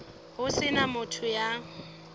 ho se na motho ya